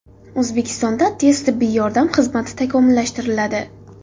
O‘zbekistonda tez tibbiy yordam xizmati takomillashtiriladi.